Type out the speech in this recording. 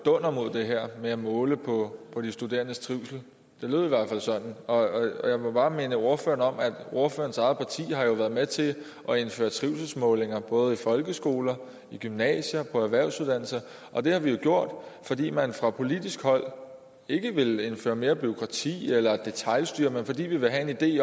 dunder mod det her med at måle på på de studerendes trivsel det lød i hvert fald sådan og jeg må bare minde ordføreren om at ordførerens eget parti jo har været med til at indføre trivselsmålinger både i folkeskoler i gymnasier og på erhvervsuddannelser og det har vi jo gjort fordi man fra politisk hold ikke vil indføre mere bureaukrati eller detailstyre men fordi vi vil have en idé